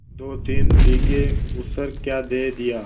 दोतीन बीघे ऊसर क्या दे दिया